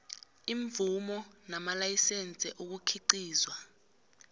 iimvumo namalayisense ukukhiqizwa